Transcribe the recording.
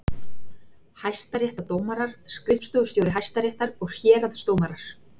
Hæstaréttardómarar, skrifstofustjóri Hæstaréttar og héraðsdómarar.